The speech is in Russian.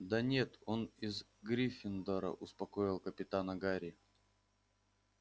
да нет он из гриффиндора успокоил капитана гарри